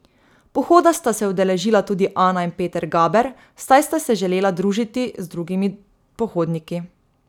Pohoda sta se udeležila tudi ana in peter gaber, saj sta se želela družiti z drugimi pohodniki.